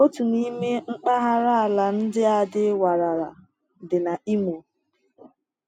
Otu n’ime mpaghara ala ndị a dị warara dị na Imo.